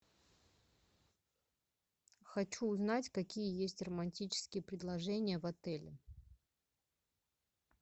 хочу узнать какие есть романтические предложения в отеле